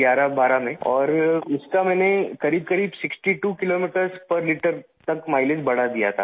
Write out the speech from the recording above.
12 میں اور اس کا میں نے تقریباً 62 کلو میٹر فی لیٹر تک مائی لیج بڑھا دیا تھا